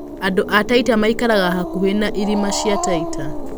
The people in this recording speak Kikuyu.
Andũ a Taita maikaraga hakuhĩ na irĩma cia Taita.